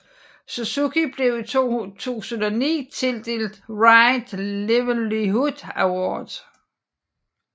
Suzuki blev i 2009 tildelt Right Livelihood Award